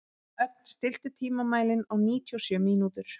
Ögn, stilltu tímamælinn á níutíu og sjö mínútur.